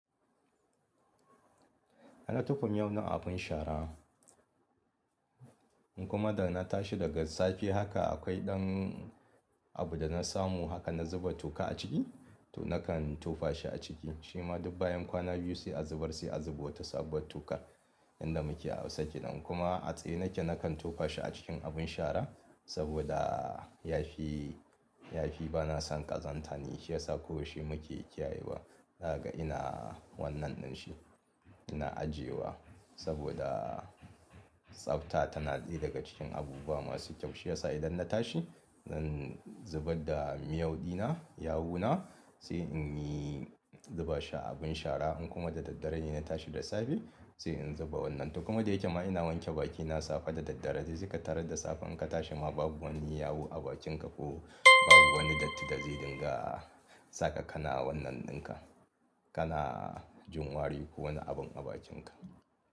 Na tofa miyau na a abin shara, in kuma da na tashi daga safe haka akwai ɗan abu da na samu haka na zuba toka a ciki to nakan tofa shi a ciki. Shima duk bayan kwana biyu sai a zubar sai a zuba wata sabuwar tuƙa yanda muke a hausa kenan. Kuma a tsaye nake nakan tofa shi a cikin abin shara saboda yafi, yafi bana son ƙazanta ne shi yasa ko shi muke kiyaye wa. Zakaga ina wannan din shi ina ajiyewa saboda tsafta tana ɗaya daga cikin abubuwa masu kyau. Shi yasa idan na tashi zan zubar da miyauɗina, yawu na sai in yi zuba shi a abin shara in kuma da daddare ne na tashi da safe sai in zuba wannan. To kuma da yake ma ina wanke bakina safe da daddare dai seka tarad da safe in ka tashi ma babu wani yawu a bakinka ko babu wani datti da zai dinga saka kana wannan ɗinka. Kana jin wari ko wani abin a bakinka.